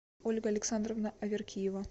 ольга александровна аверкиева